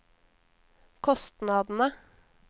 kostnadene